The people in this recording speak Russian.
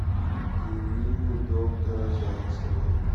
дневник доктора зайцевой